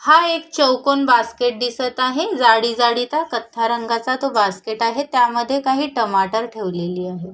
हा एक चौकोन बास्केट दिसत आहे जाळी जाळी चा कथ्या रंगाचा तो बास्केट आहे त्यामध्ये काही टमाटर ठेवलेली आहे.